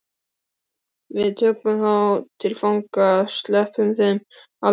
Við tökum þá til fanga. sleppum þeim aldrei út.